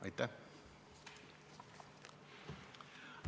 Aitäh!